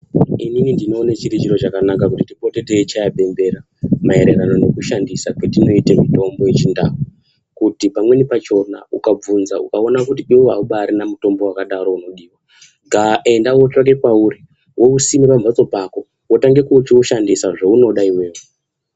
Inini ndinoone chiri chiro chakanaka kana kuti tipote teichaye bembera, maererano nekushandisa kwetinoita mitombo yechindau kuti pamweni pachona ukabvunza ukaona kuti iwewe aubarina mutombo wakadaro unodiwa ga enda wotsvake pauri wousima pamhatso pako, wotange kuchiushandisa zvounoda iwewe.